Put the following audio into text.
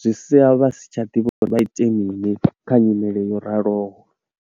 zwi sia vha si tsha ḓivha uri vha ite mini kha nyimele yo raliho.